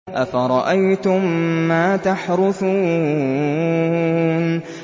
أَفَرَأَيْتُم مَّا تَحْرُثُونَ